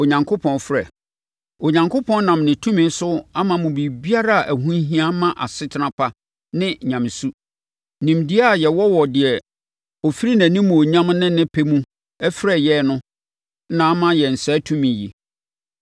Onyankopɔn nam ne tumi so ama mo biribiara a ɛho hia ma asetena pa ne nyamesu. Nimdeɛ a yɛwɔ wɔ deɛ ɔfiri nʼanimuonyam ne nnepa mu frɛɛ yɛn no na ama yɛn saa tumi yi.